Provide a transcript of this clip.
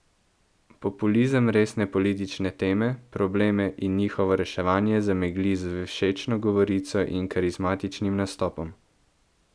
Populizem resne politične teme, probleme in njihovo reševanje zamegli z všečno govorico in karizmatičnim nastopom.